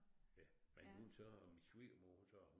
Ja men hun så min svigermor så